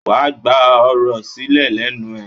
Wàá gba ọ̀rọ̀ sílè lẹ́nu ẹ̀.